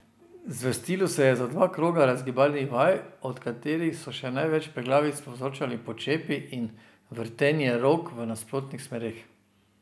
Zvrstilo se je za dva kroga razgibalnih vaj, od katerih so še največ preglavic povzročali počepi in vrtenje rok v nasprotnih smereh.